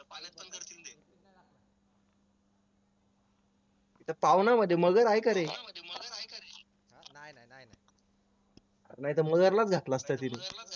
त्या पावना मध्ये मगर आहे का रे नाहीतर मगरलाच घातला असता तिथं